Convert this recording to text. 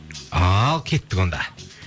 ал кеттік онда